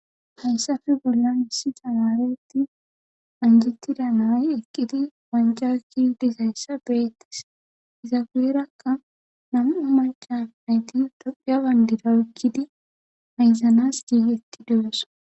Hayssafe bollan hissi tamaretti anjittida naay eqqidi wanjaki disayssa beettis iza gueerakka namu macan ayti daphiya bandirawekkidi hayzanas giigetti duyosa.